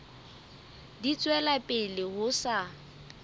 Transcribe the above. di tswela pele ho sa